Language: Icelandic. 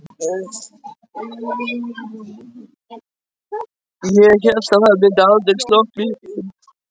Ég hélt að það myndi aldrei slokkna í þeim.